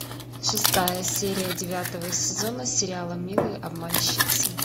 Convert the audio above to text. шестая серия девятого сезона сериала милые обманщицы